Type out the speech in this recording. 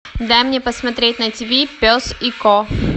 дай мне посмотреть на тв пес и ко